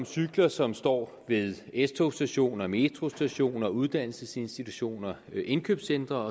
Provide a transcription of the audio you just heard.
cykler som står ved s togs stationer metrostationer uddannelsesinstitutioner indkøbscentre